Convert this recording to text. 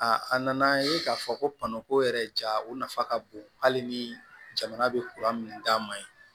a nana ye k'a fɔ ko ko yɛrɛ ja o nafa ka bon hali ni jamana bɛ min d'a ma yen